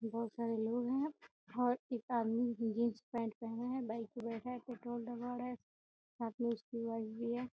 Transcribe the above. बहोत सारे लोग हैं अब और एक आदमी जींस पेंट पहना है | बाइक पर बैठा है पेट्रोल डलवा रहा है साथ में उसकी वाइफ भी है|